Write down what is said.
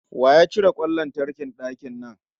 Wa ya cire kwan lantarkin dakin nan?